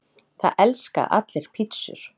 Það elska allir pizzur!